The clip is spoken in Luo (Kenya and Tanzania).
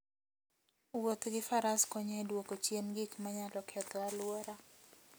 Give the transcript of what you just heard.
Wuoth gi faras konyo e duoko chien gik manyalo ketho alwora.